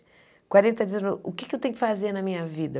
Quarenta dias, eu o que eu tenho que fazer na minha vida?